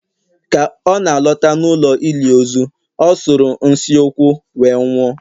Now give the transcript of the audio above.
ka ọ na-alọta n'ụlọ ili ozu, ọ sụrụ n'si ukwu wee nwụọ